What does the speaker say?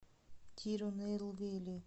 тирунелвели